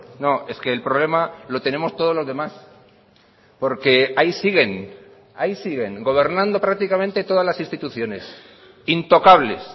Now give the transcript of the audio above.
no es que el problema lo tenemos todos los demás porque ahí siguen ahí siguen gobernando prácticamente todas las instituciones intocables